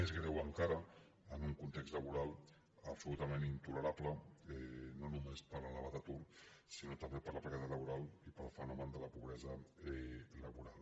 més greu encara en un context laboral abso·lutament intolerable no només per l’elevat atur sinó també per la precarietat laboral i pel fenomen de la pobresa laboral